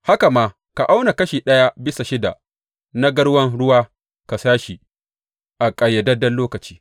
Haka ma ka auna kashi ɗaya bisa shida na garwan ruwa ka sha shi a ƙayyadadden lokaci.